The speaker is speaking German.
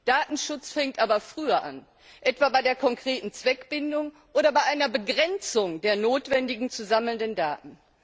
Datenschutz fängt aber früher an, etwa bei der konkreten Zweckbindung oder bei einer Begrenzung der notwendigen zu sammelnden Daten.